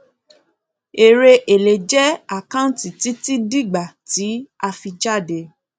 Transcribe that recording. èrè èlé jẹ àkáǹtì títí dígbà tí a fi jáde